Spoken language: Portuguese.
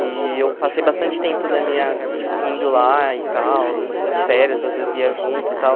E eu passei bastante tempo da minha, tipo, indo lá e tal, na nas férias, às vezes ia junto e tal.